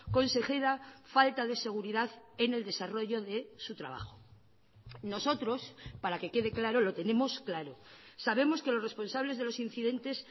consejera falta de seguridad en el desarrollo de su trabajo nosotros para que quede claro lo tenemos claro sabemos que los responsables de los incidentes